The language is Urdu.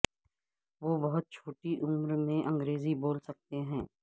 وہ بہت چھوٹی عمر میں انگریزی بول سکتے تھے